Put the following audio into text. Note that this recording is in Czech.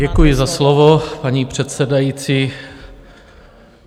Děkuji za slovo, paní předsedající.